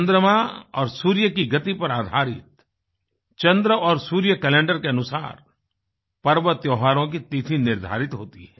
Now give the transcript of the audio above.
चन्द्रमा और सूर्य की गति पर आधारित चन्द्र और सूर्य कैलेंडरके अनुसार पर्व और त्योहारों की तिथि निर्धारित होती है